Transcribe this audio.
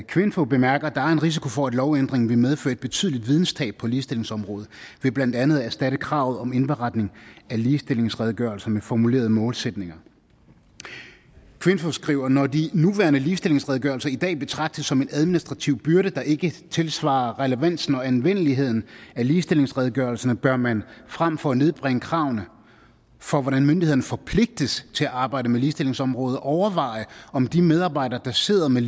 kvinfo bemærker at der er en risiko for at lovændringen vil medføre et betydeligt videnstab på ligestillingsområdet ved blandt andet at erstatte kravet om indberetning af ligestillingsredegørelser med formulerede målsætninger kvinfo skriver når de nuværende ligestillingsredegørelser i dag betragtes som en administrativ byrde der ikke tilsvarer relevansen og anvendeligheden af ligestillingsredegørelserne bør man frem for at nedbringe kravene for hvordan myndighederne forpligtes til at arbejde med ligestillingsområdet overveje om de medarbejdere der sidder med